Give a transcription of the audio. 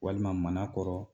Walima Manakɔrɔ